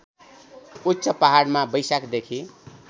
उच्च पहाडमा वैशाखदेखि